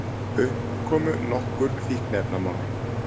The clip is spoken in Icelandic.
Upp komu nokkur fíkniefnamál